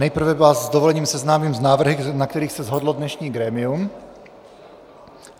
Nejprve vás s dovolením seznámím s návrhy, na kterých se shodlo dnešní grémium.